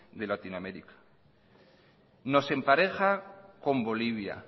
de latinoamérica nos empareja con bolivia